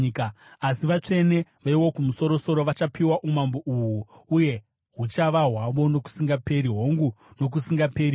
Asi vatsvene veWokumusoro-soro vachapiwa umambo uhu uye huchava hwavo nokusingaperi, hongu nokusingaperi-peri.’